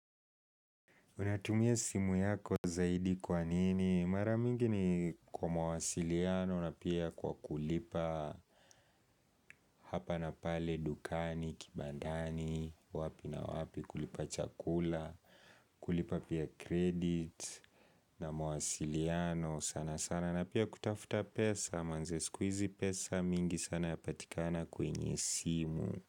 Unatumia simu yako zaidi kwa nini? Maramingi ni kwa mwasiliano na pia kwa kulipa hapa na pale dukani, kibandani, wapi na wapi kulipa chakula, kulipa pia credit na mwasiliano. Sana sana na pia kutafuta pesa, manze siku hizi pesa mingi sana yapatikana kwenye simu.